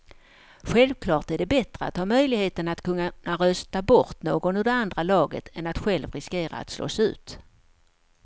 Självklart är det bättre att ha möjligheten att kunna rösta bort någon ur det andra laget än att själv riskera att slås ut.